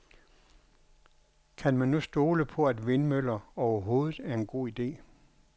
Kan man nu stole på at vindmøller overhovedet er en god ide?